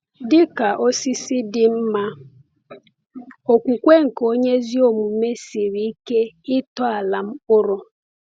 Dị ka osisi dị mma, okwukwe nke onye ezi omume siri ike ịtọala mkpụrụ.